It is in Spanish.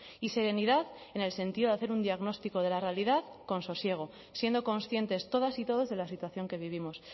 y serenidad en el sentido de hacer un diagnóstico de la realidad con sosiego siendo conscientes todas y todos de la situación que vivimos